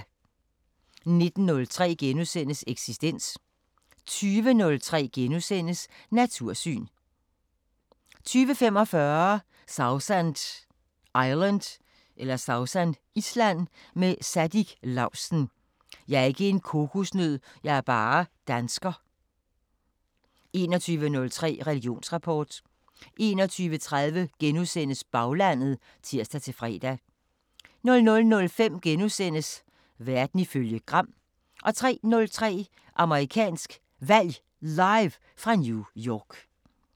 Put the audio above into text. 19:03: Eksistens * 20:03: Natursyn * 20:45: Sausan Island med Siddik Lausten: "Jeg er ikke en kokosnød. Jeg er bare dansker" * 21:03: Religionsrapport 21:30: Baglandet *(tir-fre) 00:05: Verden ifølge Gram * 03:03: Amerikansk Valg Live fra New York